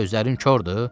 Gözlərin kordur?